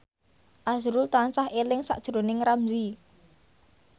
azrul tansah eling sakjroning Ramzy